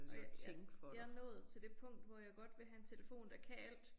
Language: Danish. Og jeg jeg jeg nået til det punkt hvor jeg godt vil have en telefon der kan alt